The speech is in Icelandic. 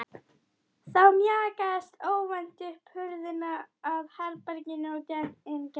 Þá mjakaðist óvænt upp hurðin að herberginu og inn gekk